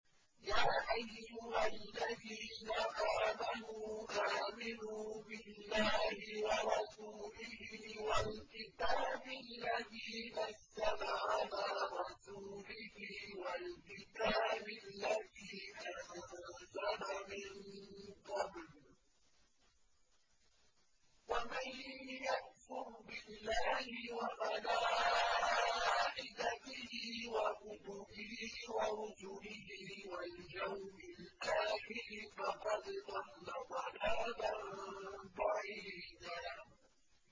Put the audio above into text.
يَا أَيُّهَا الَّذِينَ آمَنُوا آمِنُوا بِاللَّهِ وَرَسُولِهِ وَالْكِتَابِ الَّذِي نَزَّلَ عَلَىٰ رَسُولِهِ وَالْكِتَابِ الَّذِي أَنزَلَ مِن قَبْلُ ۚ وَمَن يَكْفُرْ بِاللَّهِ وَمَلَائِكَتِهِ وَكُتُبِهِ وَرُسُلِهِ وَالْيَوْمِ الْآخِرِ فَقَدْ ضَلَّ ضَلَالًا بَعِيدًا